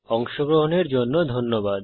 অংশগ্রহনের জন্য ধন্যবাদ